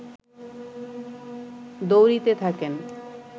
দৌড়িতে থাকেন